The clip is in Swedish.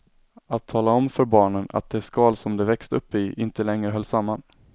Att tala om för barnen att det skal som de växt upp i inte längre höll samman.